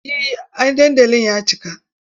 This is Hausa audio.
Eh an dandali ya cika.